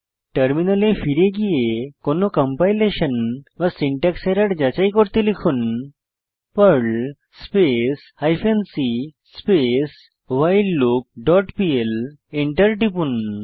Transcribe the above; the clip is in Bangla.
টার্মিনালে ফিরে গিয়ে কোনো কম্পাইলেশন বা সিনট্যাক্স এরর যাচাই করতে লিখুন Perl space hyphen c space while loop dot PL enter টিপুন